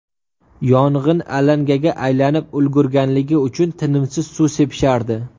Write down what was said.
Yong‘in alangaga aylanib ulgurganligi uchun tinimsiz suv sepishardi.